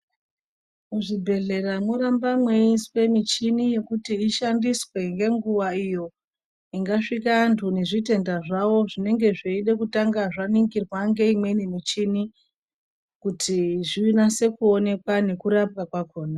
Muzvibhedhlera moramba muyiswe michini yekuti ishandiswe ngenguwa iyo , ingasvika antu ngezvitenda zvavo zvinenge zviyide kutanga zvaningirwa ngeyimweni michini kuti zvinase kuwonekwa nekurapwa kwakhona.